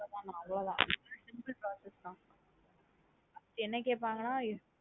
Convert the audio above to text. அவ்ளோதான் நா அவ்ளோதான் இதுக்கு மே simple process தான் என்ன கேப்பாங்கன்ன.